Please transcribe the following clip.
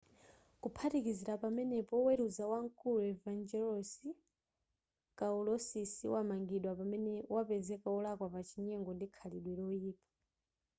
kuphatikizira pamenepo oweruza wamkulu evangelos kalousisi wamangidwa pamene wapezeka wolakwa pa chinyengo ndi khalidwe loyipa